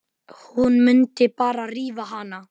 Hún mundi bara rífa hana.